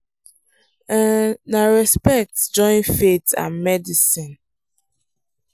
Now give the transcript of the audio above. um na respect join faith and medicine